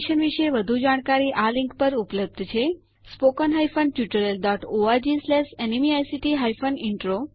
આ મિશન વિશે વધુ જાણકારી આ લિંક httpspoken tutorialorgNMEICT Intro ઉપર ઉપલબ્ધ છે